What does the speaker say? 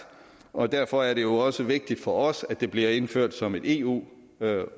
og derfor er det jo også vigtigt for os at det bliver indført som en eu